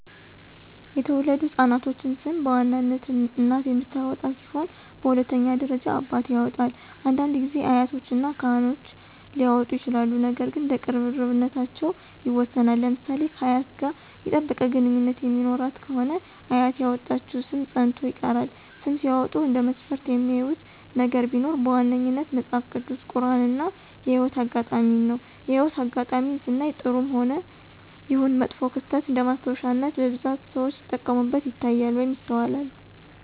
የተወለዱ ህፃናቶችን ሰም በዋናነት እናት የምታወጣ ሲሆን በሁለተኛ ደረጃ አባት ያወጣል፤ አንዳንድ ጊዜ አያቶች እና ካህኖች ሊያወጡ ይችላሉ ነገር ግን እንደ ቅርርብነታቸው ይወሰናል። ለምሳሌ ከአያት ጋር የጠበቀ ግንኙነት የሚኖራት ከሆነ አያት ያወጣችው ሰም ፀንቶ ይቀራል። ስም ሲያወጡ እንደ መስፈርት የሚያዩት ነገር ቢኖር በዋነኛነት መጸሐፍ ቅዱስ፣ ቁራን እና የህይወት አጋጣሜን ነው። የህይወት አጋጣሜን ስናይ ጥሩም ይሁን መጥፎ ክስተት እንደማስታወሻነት በብዛት ሰዎች ሲጠቀሙበት ይታያሉ ወይም ይስተዋላሉ።